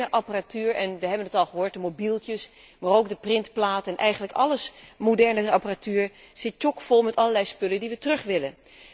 De moderne apparatuur we hebben het al gehoord mobieltjes, maar ook de printplaten, eigenlijk alle moderne apparatuur zit tjokvol met allerlei spullen die we terug willen.